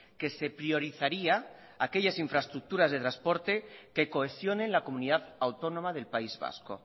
que se priorizaría aquellas infraestructuras de transporte que cohesionen la comunidad autónoma del país vasco